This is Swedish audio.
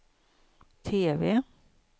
TV